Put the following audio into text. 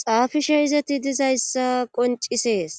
xaafishe izati dizayssa qoncisees